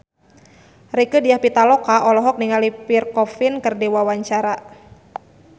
Rieke Diah Pitaloka olohok ningali Pierre Coffin keur diwawancara